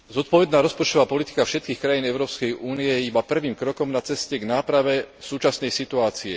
Zodpovedná rozpočtová politika všetkých krajín Európskej únie je iba prvým krokom na ceste k náprave súčasnej situácie.